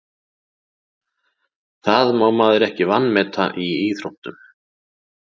Það má maður ekki vanmeta í íþróttum.